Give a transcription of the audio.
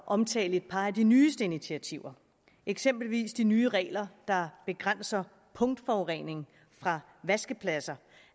omtale et par af de nyeste initiativer eksempelvis de nye regler der begrænser punktforurening fra vaskepladser